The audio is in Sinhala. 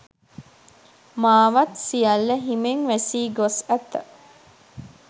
මාවත් සියල්ල හිමෙන් වැසී ගොස් ඇත